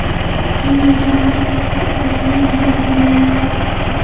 Tanlangan paketga qarab, hajning narxi belgilanadi.